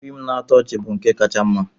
Fiim na-atọ ọchị bụ nke kacha mma.